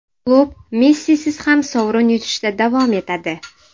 Klub Messisiz ham sovrin yutishda davom etadi.